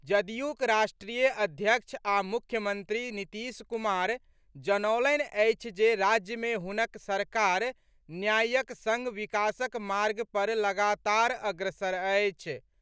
जदयूक राष्ट्रीय अध्यक्ष आ मुख्यमंत्री नीतीश कुमार जनौलनि अछि जे राज्य मे हुनक सरकार न्यायक संग विकासक मार्ग पर लगातार अग्रसर अछि।